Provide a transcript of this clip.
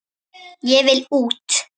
Ég vil út!